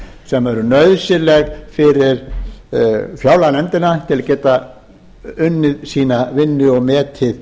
sem eru nauðsynleg fyrir fjárlaganefndina til að geta unnið sína vinnu og metið